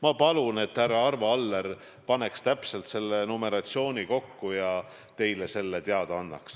Ma palun, et härra Arvo Aller paneks täpselt selle numeratsiooni kokku ja annaks teile selle teada.